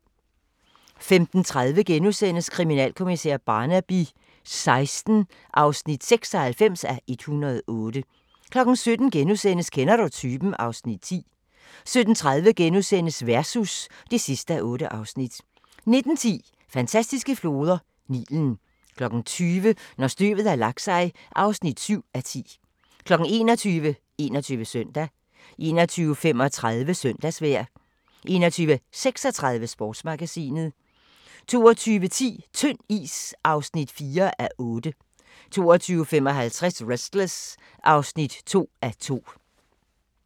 15:30: Kriminalkommissær Barnaby XVI (96:108)* 17:00: Kender du typen? (Afs. 10)* 17:30: Versus (8:8)* 19:10: Fantastiske floder: Nilen 20:00: Når støvet har lagt sig (7:10) 21:00: 21 Søndag 21:35: Søndagsvejr 21:36: Sportsmagasinet 22:10: Tynd is (4:8) 22:55: Restless (2:2)